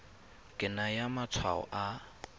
ke wa naya matshwao a